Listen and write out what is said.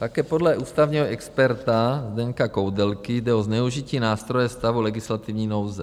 Také podle ústavního experta Zdeňka Koudelky jde o zneužití nástroje stavu legislativní nouze.